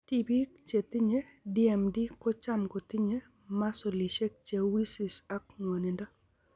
Tibik che tinye DMD ko cham ko tinye masolishek che wisis ak ng'wanindo.